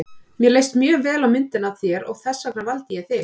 Mér leist mjög vel á myndina af þér og þess vegna valdi ég þig.